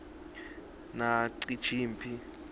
nacijimphi